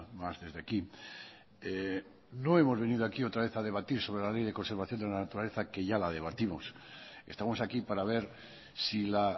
más desde aquí no hemos venido aquí otra vez a debatir sobre la ley de conservación de la naturaleza que ya la debatimos estamos aquí para ver si la